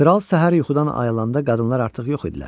Kral səhər yuxudan ayılında qadınlar artıq yox idilər.